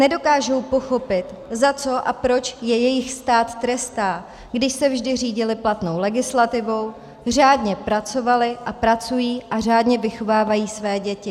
Nedokážou pochopit, za co a proč je jejich stát trestá, když se vždy řídili platnou legislativou, řádně pracovali a pracují a řádně vychovávají své děti.